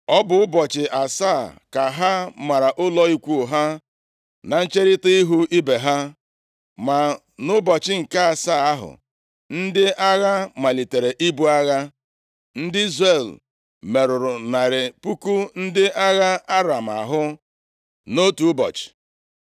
Ọ bụ ụbọchị asaa ka ha mara ụlọ ikwu ha na ncherita ihu ibe ha. Ma nʼụbọchị nke asaa ahụ, ndị agha malitere ibu agha. Ndị Izrel merụrụ narị puku ndị agha Aram ahụ nʼotu ụbọchị.